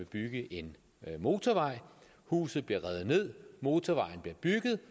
bygges en motorvej huset bliver revet ned motorvejen bliver bygget